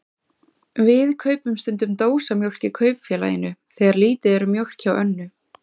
Við kaupum stundum dósamjólk í Kaupfélaginu þegar lítið er um mjólk hjá Önnu.